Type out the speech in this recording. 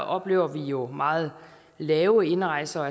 oplever vi jo meget lave indrejse og